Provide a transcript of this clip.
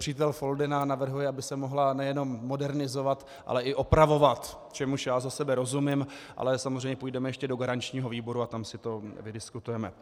Přítel Foldyna navrhuje, aby se mohla nejenom modernizovat, ale i opravovat, čemuž já za sebe rozumím, ale samozřejmě půjdeme ještě do garančního výboru a tam si to vydiskutujeme.